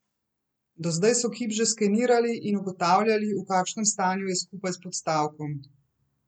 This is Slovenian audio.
Do zdaj so kip že skenirali in ugotavljali, v kakšnem stanju je skupaj s podstavkom.